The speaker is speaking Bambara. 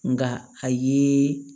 Nka a ye